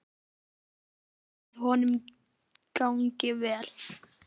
Ég vona að honum gangi vel.